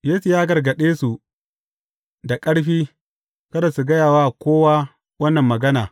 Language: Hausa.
Yesu ya gargaɗe su da ƙarfi, kada su gaya wa kowa wannan magana.